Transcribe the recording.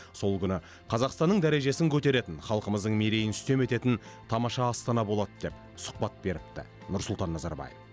сол күні қазақстанның дәрежесін көтеретін халқымыздың мерейін үстем ететін тамаша астана болады деп сұхбат беріпті нұрсұлтан назарбаев